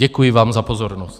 Děkuji vám za pozornost.